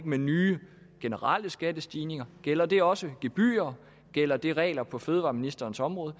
med nye generelle skattestigninger gælder det også gebyrer gælder det regler på fødevareministerens område